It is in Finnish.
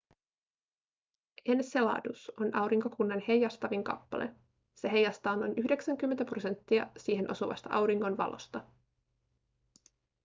enceladus on aurinkokunnan heijastavin kappale se heijastaa noin 90 prosenttia siihen osuvasta auringon valosta